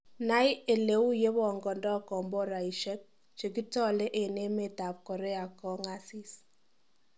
Nai eleu yegebongondo komboraisiek chekitole en emet ab Korea goasis.